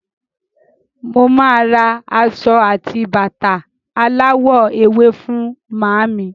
Mo máa ra aṣọ àti bàtà aláwọ̀ ewé fún màámi.